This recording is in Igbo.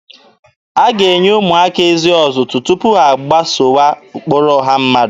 A ga-enye ụmụaka ezi ọzụzụ tupu ha agbasowa ụkpụrụ ọha mmadụ.